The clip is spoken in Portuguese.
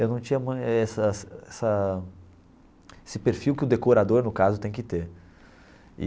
Eu não tinha essa essa esse perfil que o decorador, no caso, tem que ter.